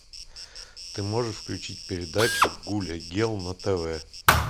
ты можешь включить передачу гулягел на тв